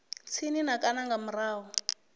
tsini na kana nga murahu